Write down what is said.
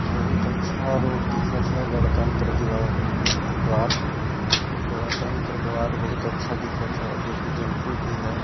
बहुत अच्छा रोड दिखत हय गणतंत्र दिवस द्वारा गणतंत्र द्वार बहुत अच्छा दिखत हय जो कि टेंपो भी है।